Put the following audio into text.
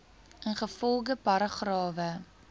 ingevolge paragrawe